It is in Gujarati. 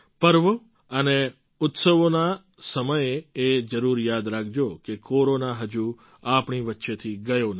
પર્વ અને ઉત્સવોના સમયે એ જરૂર યાદ રાખજો કે કોરોના હજુ આપણી વચ્ચેથી ગયો નથી